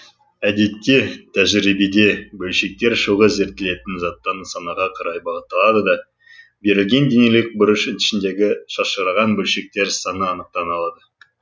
әдетте тәжірибеде бөлшектер шоғы зерттелетін заттан нысанаға қарай бағытталады да берілген денелік бұрыш ішіндегі шашыраған бөлшектер саны анықтаналады